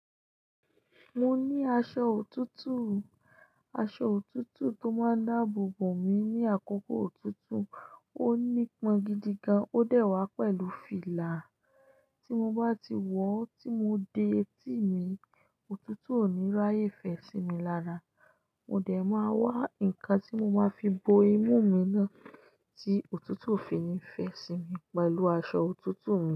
Mo ní aṣọ òtútù. Aṣọ òtútù tó má ń dáàbò bò mi ní àkókò òtútù. Ó nípọn gidi gan, ó dẹ̀ wá pẹ̀lú fìlà. Tí mo bá ti wọ̀ ọ́ tí mo de etí mi, òtútù ò ní rí aayé fè sí mi lára. Mo dẹ̀ máa wá ǹkan tí mo máa fi bo imú mi náà tí òtútù ò fi ní fẹ́ sí mi pẹ̀lú aṣọ òtútù mi.